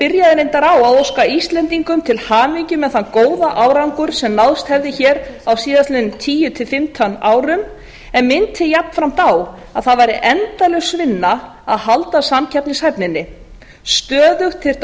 byrjaði reyndar á að óska íslendingum til hamingju með þann góða árangur sem náðst hefði á síðastliðnum tíu til fimmtán árum en minnti jafnframt á að það væri endalaus vinna að halda samkeppnishæfninni stöðugt þyrfti að